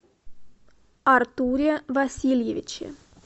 артуре васильевиче